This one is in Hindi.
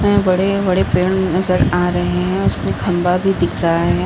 में बड़े बड़े पेड़ नजर आ रहे हैं। उस पे खम्बा भी दिख रहा हैं।